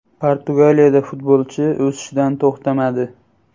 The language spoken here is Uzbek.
Portugaliyada futbolchi o‘sishdan to‘xtamadi.